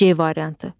C variantı.